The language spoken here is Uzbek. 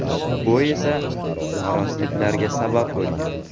Bu esa noroziliklarga sabab bo‘lgan.